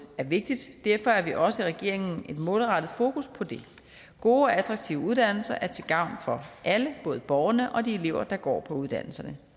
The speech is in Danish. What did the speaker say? er vigtigt derfor har vi også i regeringen et målrettet fokus på det gode og attraktive uddannelser er til gavn for alle både borgerne og de elever der går på uddannelserne